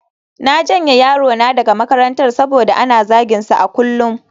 Na janye yarona daga makarantar saboda ana zaginsa a kullum